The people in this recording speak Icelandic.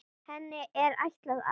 Henni er ætlað að